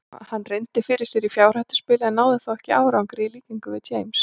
Hann reyndi fyrir sér í fjárhættuspili en náði þó ekki árangri í líkingu við James.